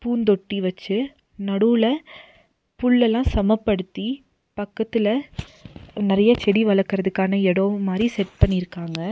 பூந்தொட்டி வச்சு நடுவுல புல்லெல்லா சமப்படுத்தி பக்கத்துல நெறையா செடி வளக்கறதுக்கான எடோ மாரி செட் பண்ணிருக்காங்க.